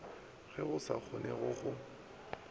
ge go sa kgonege go